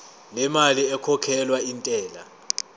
lemali ekhokhelwa intela